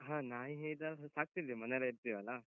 ಹ ನಾಯಿ ಸಾಕ್ತಿದ್ದಿವಿ, ಮನೆಯಲ್ಲೇ ಇರ್ತೀವಲ್ಲ?